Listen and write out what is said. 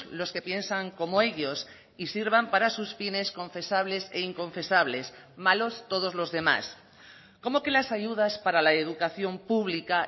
los que piensan como ellos y sirvan para sus fines confesables e inconfesables malos todos los demás cómo que las ayudas para la educación pública